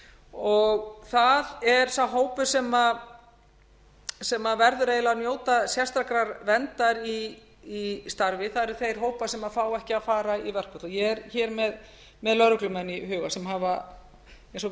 og það er sá hópur sem verður eiginlega að njóta sérstakrar verndar í starfi það eru þeir hópar sem fá ekki að fara í verkfall ég er hér með lögreglumenn í huga sem hafa eins og við